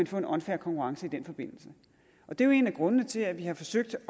få en unfair konkurrence i den forbindelse og det er jo en af grundene til at vi har forsøgt at